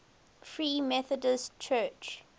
free methodist church